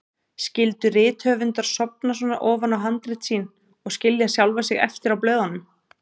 Skyldu rithöfundar sofna svona ofan í handrit sín og skilja sjálfa sig eftir á blöðunum?